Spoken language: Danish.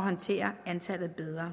håndtere antallet bedre